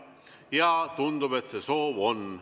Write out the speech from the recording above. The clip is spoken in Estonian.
Ja tundub, et see soov on.